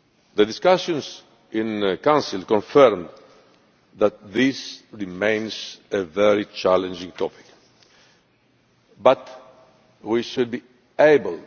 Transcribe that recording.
taken. The discussions in the Council confirmed that this remains a very challenging topic, but we should be able